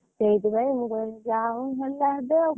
ସେଇଥି ପାଇଁ ମୁଁ କହିଲି ଯାହା ହଉ ନହେଲେ ହବ